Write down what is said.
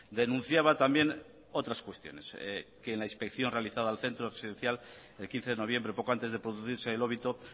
denunciaba también otras cuestiones que en la inspección realizada al centro residencial el quince de noviembre poco antes de producirse el óbito